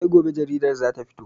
Sai gobe jaridar za ta fito.